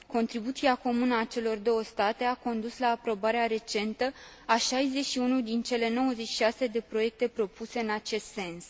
Contribuția comună a celor două state a condus la aprobarea recentă a 61 din cele 96 de proiecte propuse în acest sens.